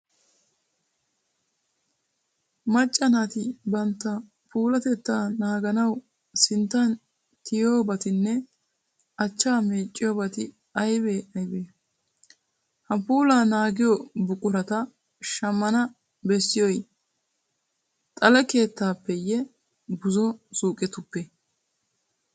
Macca naati bantta puulatettaa naaganawu sinttan tiyettiyobatinne achchaa meecciyobati aybee aybee? Ha puulaa naagiyo buqurata shammana bessiyoy xale keettatuppeeyyee buzo suuqetuppee?